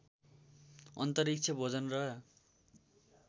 अन्तरिक्ष भोजन र